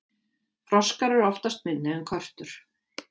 froskar eru oftast minni en körtur